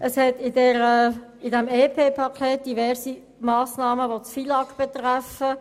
Dieses EP enthält diverse Massnahmen, welche das Gesetz über den Finanz- und Lastenausgleich des Kantons (FILAG) betreffen.